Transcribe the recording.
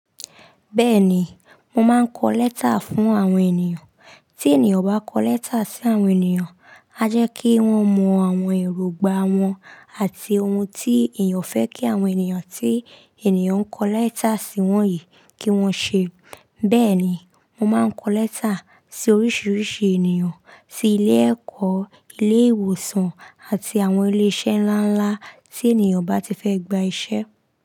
Bẹ́ẹ̀ ni, mo máa ń kọ lẹ́tà fún àwọn ènìyàn. Tí ènìyàn bá kọ lẹ́tà sí àwọn ènìyàn, á jẹ́ kí wọ́n mọ àwọn èrògbà wọn àti ohun tí ènìyàn fẹ́ kí àwọn ènìyàn tí ènìyàn ń kọ lẹ́tà sí wọ́n yìí kí wọ́n ṣe. Bẹ́ẹ̀ ni, mo máa ń kọ lẹ́tà sí oríṣìíríṣìí ènìyàn, sí ilé ẹ̀kọ́, ilé ìwòsàn àti àwọn ilé iṣẹ́ ńlá ńlá tí ènìyàn bá ti fẹ́ gba iṣẹ́